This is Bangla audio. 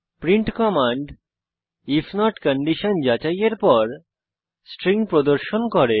print command if not condition যাচাইয়ের পর স্ট্রিং প্রদর্শন করে